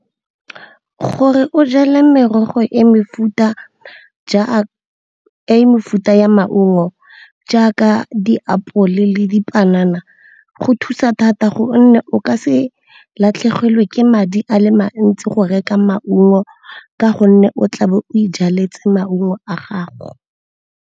Gore o jale merogo e mefuta ya maungo jaaka diapole le dipanana, go thusa thata gonne o ka se latlhegelwe ke madi a le mantsi go reka maungo ka gonne o tla be o ijaletse maungo a gago.